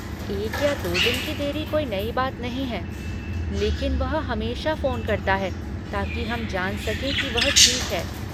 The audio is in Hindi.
एक या दो दिन की देरी कोई नई बात नहीं है, लेकिन वह हमेशा फ़ोन करता है ताकि हम जान सकें कि वह ठीक है।